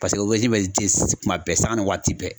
Paseke obɛrden be den kuma bɛɛ sanga ni waati bɛɛ